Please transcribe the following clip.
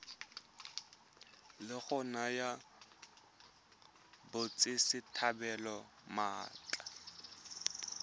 la go naya batswasetlhabelo maatla